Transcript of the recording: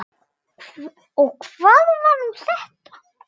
Og hvað var nú þetta!